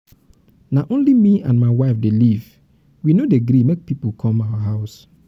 na only me and my wife dey live we no dey gree make pipu come our house.